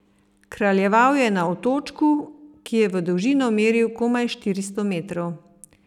Kraljeval je na otočku, ki je v dolžino meril komaj štiristo metrov.